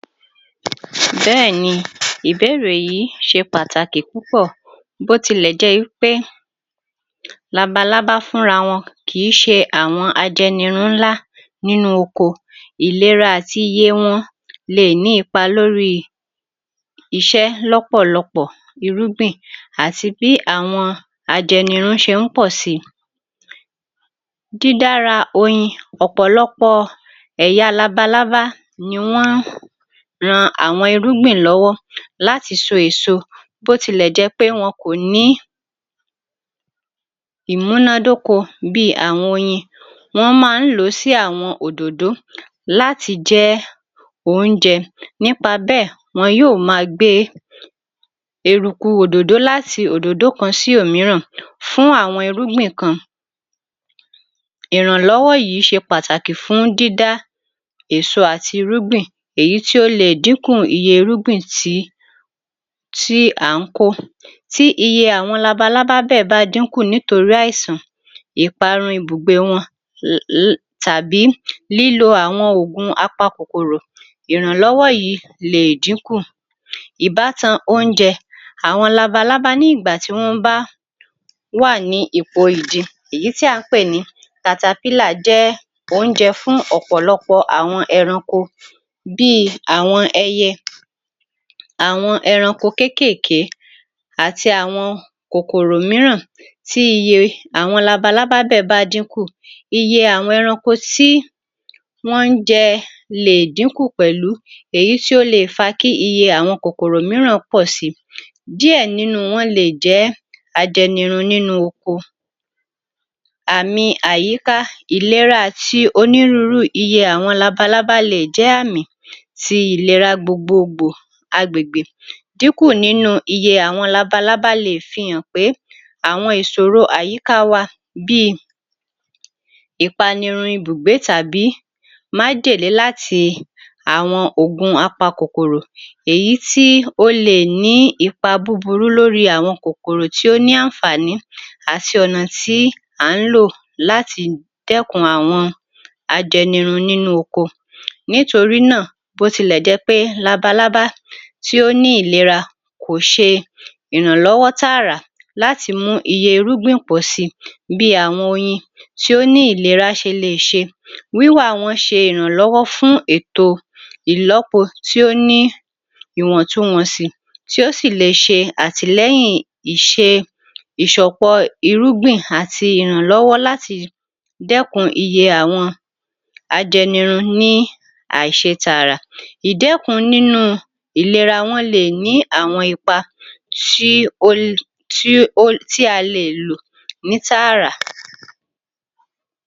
Bẹ́ẹ̀ ni ìbéèrè yí ṣe pàtàkì púpọ̀ bó tilẹ̀ jé í pé labalábá fúnra wọn kì í ṣe àwọn ajẹnirun ńlá nínú ọko. Ìlera àti iye wọn le è ní ipa lórí i iṣẹ́ lọ́pọ̀lọpọ̀ irúgbìn àti bí àwọn ajẹnirun ṣe ń pọ̀ si. Dídára oyin ọ̀pọ̀lọpọ̀ ẹ̀ya àwọn labalábá ni wọ́n ran àwọn irúngbìn lọ́wọ́ láti so èso bó tilẹ̀ jẹ́ pé wọn kò ní] ìmúnádóko bí àwọn oyin wọ́n ma ń lò ó sí àwọn òdòdó láti jẹ́ oúnjẹ nípa bẹ́ẹ̀ wọn yó ma gbé eruku òdòdó láti òdòdó kan sí òmíràn fún àwọn irúgbìn kan ìrànlọ́wọ́ yí ṣe pàtàkì fún àwọn irúgbìn kan. Ìrànlọ́wọ́ yí ṣe pàtàkì fún dídá èso àti irúgbìn èyí tí ó le è dínkù iye irúgbìn tí à ń kó tí iye àwọn labalábá bẹ́ẹ̀ bá dínkù nítorí àìsàn, ìparun ibùgbé wọn tàbí lílo àwọn òògùn apakòkòrò ìrànlọ́wọ́ yìí le è dínkù. Ìbátan oúnjẹ àwọn labalábá ní ìgbà tí wọ́n wà ní ipò ìdin èyí tí à ń pè ní caterpillar jẹ́ oúnjẹ fún ọ̀pọ̀lọpọ̀ àwọn ẹranko bí i àwọn ẹyẹ, àwọn ẹranko kékèèké àti àwọn kòkòrò míràn tí iye àwọn labalábá bẹ́ẹ̀ bá dínkù iye àwọn ẹranko tí wọ́n ń jẹ le è dínkù pẹ̀lú èyí tí o lè è fa kí iye àwọn kòkòrò míràn pọ̀ si. Díẹ̀ nínú wọn le è jẹ́ ajẹnirun nínú oko àmi àyíká ìlera àti onírúurú iye àwọn labalábá le è jẹ́ àmì ti ìlera gbogbogbò agbègbè. Ìdínkù nínú iye àwọn labalábá le è fi hàn pé àwọn ìṣòro àyíká a wa bí i ìpanirun ibùgbé tàbí májèlé láti àwọn ògun apakòkòrò tí ó le è ní ipa búburú lórí àwọn kòkòrò tí ó ní àǹfààní àti ọ̀nà tí à ń lò láti dẹ́kun àwọn ajẹnirun nínú oko. Nítorí náà bó tilẹ̀ jẹ́ pé labalábá tí ó ní ìlera kò ṣe ìrànlọ́wọ́ tààrà láti mú iye irúgbìn pọ̀ si bí àwọn oyin tí ó ní ìlera ti lè ṣe. Wíwa wọn ṣe ìrànlọ́wọ́ fún èto ìlọ́po tí ó ní ìwọ̀ntunwọ̀nsì tí ó sì lè ṣe àtìlẹ́yìn ìṣe ìṣọ̀pọ̀ irúgbìn àti ìrànlọ́wọ́ láti dẹ́kun iye àwọn ajẹnirun ní àìṣe tààrà. Ìdẹ́kun nínú u ìlera wọn le è ní àwọn ipa tí a le è lò ní tààrà.